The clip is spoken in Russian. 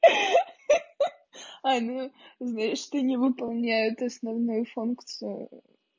ха-ха ань ну ты знаешь не выполняем основную функцию